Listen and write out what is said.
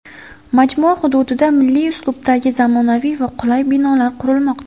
Majmua hududida milliy uslubdagi zamonaviy va qulay binolar qurilmoqda.